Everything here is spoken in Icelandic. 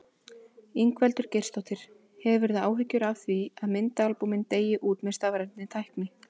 Ingveldur Geirsdóttir: Hefurðu áhyggjur af því að myndaalbúmin deyi út með stafrænni tækni?